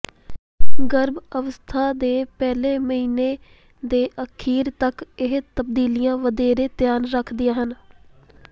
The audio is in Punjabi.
ਗਰਭ ਅਵਸਥਾ ਦੇ ਪਹਿਲੇ ਮਹੀਨੇ ਦੇ ਅਖੀਰ ਤੱਕ ਇਹ ਤਬਦੀਲੀਆਂ ਵਧੇਰੇ ਧਿਆਨ ਰੱਖਦੀਆਂ ਹਨ